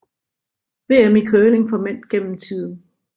VM i curling for mænd gennem tiden